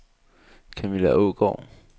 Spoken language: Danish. Kamilla Aagaard